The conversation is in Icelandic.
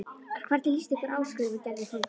Hvernig líst ykkur á? skrifar Gerður foreldrunum.